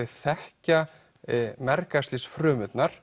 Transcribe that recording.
þekkja